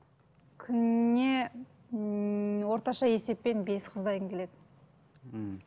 күніне ммм орташа есеппен бес қыздан келеді мхм